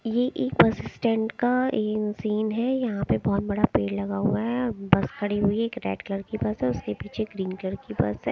ये एक bus stand का येन सीन है यहां पे बहोत बड़ा पेड़ लगा हुआ है बस खड़ी हुई है एक रेड कलर कि बस उसके पीछे ग्रीन कलर की बस है।